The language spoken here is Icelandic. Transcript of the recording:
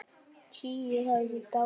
Tíu höfðu dáið.